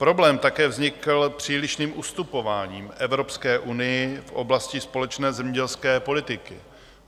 Problém také vznikl přílišným ustupováním Evropské unii v oblasti společné zemědělské politiky.